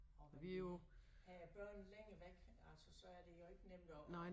Og men vi havde børn længe væk altså så er det jo ikke nemt at